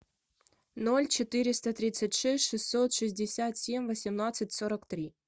ноль четыреста тридцать шесть шестьсот шестьдесят семь восемнадцать сорок три